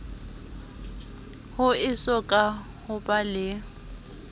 ho esoka ho ba le